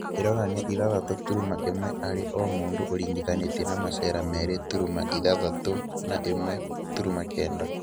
Ĩronania ithatũ turuma ĩmwe harĩ o-mũndũ ũringithanĩtie na macera meerĩ turuma ithathatũ na ĩmwe turuma kenda